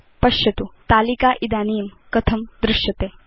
पश्यतु तालिका इदानीं कथं दृश्यते